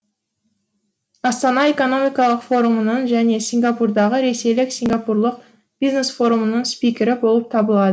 астана экономикалық форумының және сингапурдағы ресейлік сингапурлық бизнес форумның спикері болып табылады